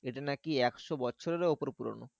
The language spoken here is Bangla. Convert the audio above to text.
এটা নাকি একশো বছরেরও ওপর পুরোনো।